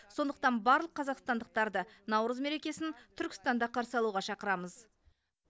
сондықтан барлық қазақстандықтарды наурыз мерекесін түркістанда қарсы алуға шақырамыз